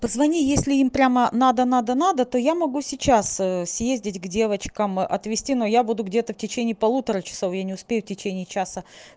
позвони если им прямо надо надо надо то я могу сейчас съездить к девочкам отвезти но я буду где-то в течение полутора часов я не успею в течение часа